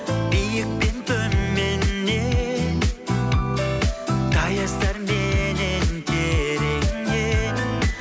биікпен төменнен таяздарменен тереңде